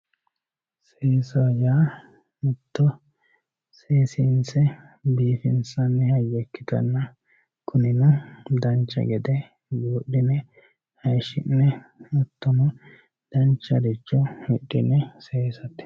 Seessaho yaa mito seessinse biifinsanni hayyo ikkitanna kunino danicha gede buudhi'ne hayishi'ne hatono dancharicho hidhine seessate.